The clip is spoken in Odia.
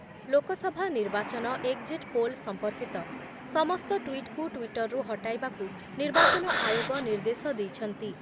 ଲୋକସଭା ନିର୍ବାଚନ ଏକ୍‌ଜିଟ୍ ପୋଲ୍ ସମ୍ପର୍କୀତ ସମସ୍ତ ଟ୍ଵିଟ୍‌କୁ ଟ୍ଵିଟରରୁ ହଟାଇବାକୁ ନିର୍ବାଚନ ଆୟୋଗ ନିର୍ଦ୍ଦେଶ ଦେଇଛନ୍ତି ।